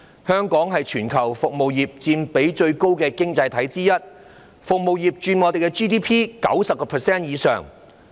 香港是全球服務業佔比最高的經濟體之一，服務業佔香港 GDP 90% 以上。